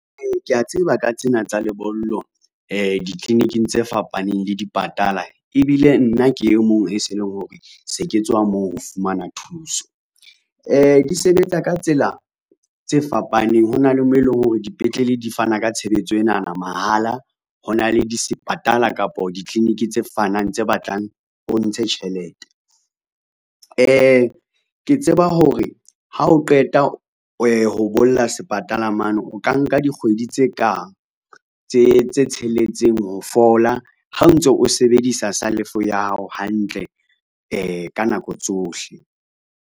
Ee, kea tseba ka tsena tsa lebollo di ditliliniking tse fapaneng le dipatala, ebile nna ke e mong e se leng hore se ke tswa moo ho fumana thuso. Di sebetsa ka tsela tse fapaneng ho na le mo eleng hore dipetlele di fana ka tshebetso enana mahala, ho na le disepatala kapa ditliliniki tse batlang o ntshe tjhelete. Ke tseba hore ha o qeta ho bolla sepatala mane o ka nka dikgwedi tse kang tse tsheletseng ho fola ha o ntso o sebedisa salofo ya hao hantle ka nako tsohle.